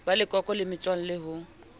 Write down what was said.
ba leloko le metswalle ho